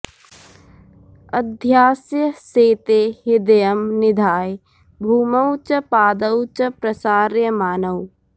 अध्यास्य शेते हृदयं निधाय भूमौ च पादौ च प्रसार्यमाणौ